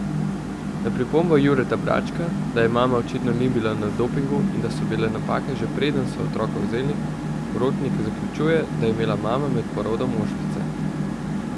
Na pripombo Jureta Bračka, da je mama očitno bila na dopingu in da so bile napake že preden so otroka vzeli, Rotnik zaključuje, da je imela mama med porodom ošpice.